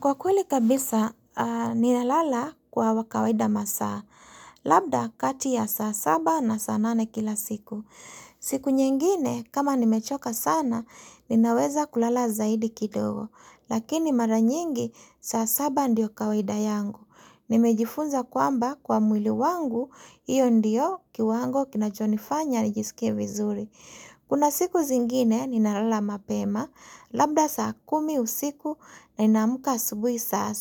Kwa kweli kabisa, ninalala kwa wakawida masaa, labda kati ya saa saba na saa nane kila siku. Siku nyingine, kama nimechoka sana, ninaweza kulala zaidi kidogo, lakini mara nyingi saa saba ndiyo kawaida yangu. Nimejifunza kwamba kwa mwili wangu, hiyo ndiyo kiwango kinachonifanya nijisikie vizuri. Kuna siku zingine ninalala mapema, labda saa kumi usiku na ninamuka asubui saa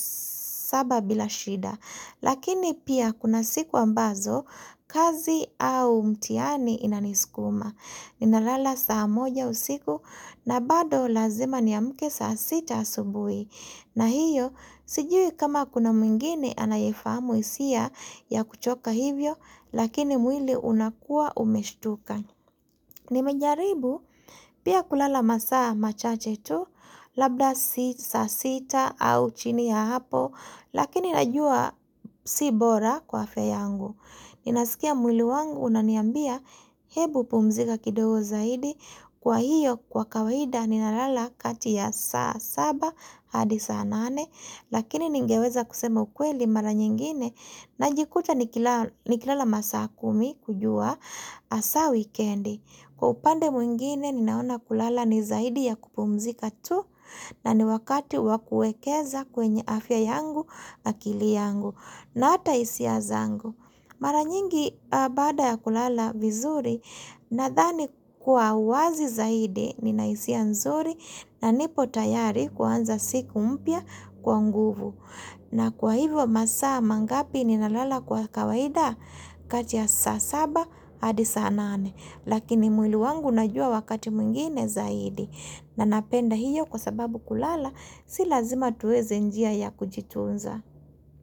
saba bila shida. Lakini pia kuna siku ambazo, kazi au mtihani inaniskuma. Ninalala saa moja usiku na bado lazima ni amke saa sita asubui. Na hiyo, sijui kama kuna mwingine anayefamu isia ya kuchoka hivyo, lakini mwili unakua umeshtuka. Nimejaribu pia kulala masaa machache tu labda saa sita au chini ya hapo lakini najua sibora kwa afya yangu. Ninasikia mwili wangu unaniambia hebu pumzika kidogo zaidi kwa hiyo kwa kawaida ninalala kati ya saa saba hadi saa nane lakini ningeweza kusema ukweli mara nyingine na jikuta nikilala masaa kumi kujua asa weekendi. Kwa upande mwingine ninaona kulala ni zaidi ya kupumzika tu na ni wakati wakuekeza kwenye afya yangu akili yangu na ata hisia zangu. Mara nyingi bada ya kulala vizuri nadhani kwa wazi zaidi nina hisia nzuri na nipo tayari kuanza siku mpya kwa nguvu. Na kwa hivyo masaa mangapi ninalala kwa kawaida kati ya saa saba hadi saa nane. Lakini mwili wangu unajua wakati mwingine zaidi. Na napenda hiyo kwa sababu kulala si lazima tuweze njia ya kujitunza.